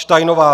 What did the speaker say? Steinová